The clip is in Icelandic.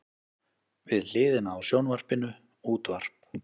Við hliðina á sjónvarpinu útvarp.